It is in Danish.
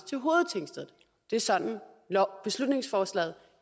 til hovedtingstedet det er sådan beslutningsforslaget